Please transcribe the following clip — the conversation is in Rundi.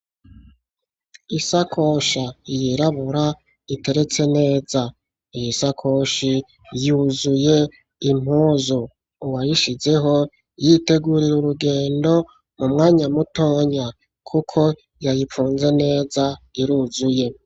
Isakoshi yirabura iteretse neza, iyo sakoshi yuzuye impuzu, uwayishizeho yiteguye urugendo mu myanya mutoyi kuko yayifunze neza iruzuye.